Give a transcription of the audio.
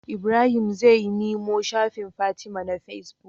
Ibrahim zai nemo shafin fatima na face book